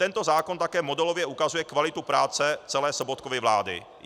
Tento zákon také modelově ukazuje kvalitu práce celé Sobotkovy vlády.